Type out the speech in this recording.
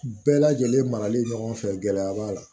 Bɛɛ lajɛlen marali ɲɔgɔn fɛ gɛlɛya b'a la